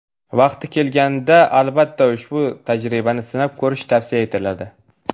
Vaqti kelganida, albatta, ushbu tajribani sinab ko‘rish tavsiya etiladi.